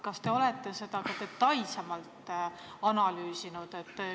Kas te olete seda ka detailsemalt analüüsinud?